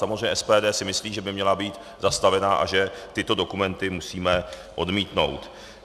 Samozřejmě SPD si myslí, že by měla být zastavena a že tyto dokumenty musíme odmítnout.